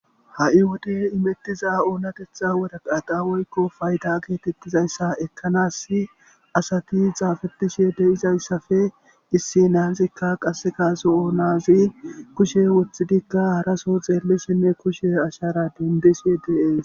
ha7i wode imettiza oonatetha woraqata woykko payiddo geetettizayssa ekkanassi asati xaafetishe de'izayssappe issi nazikka qassekka zo'o nazi kushshe woththidikka harasso xeellishshenne kushe ashara dendishshe dees.